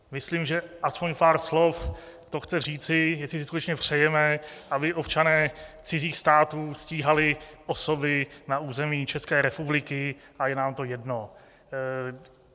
Myslím, že aspoň pár slov to chce říci, jestli si skutečně přejeme, aby občané cizích států stíhali osoby na území České republiky, a je nám to jedno.